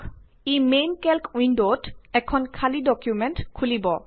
ই main কেল্ক উইন্ডত এটা এম্পটি ডকুমেন্ট খুলিব